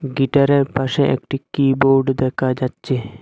গিটারের পাশে একটি কিবোর্ড দেখা যাচ্ছে।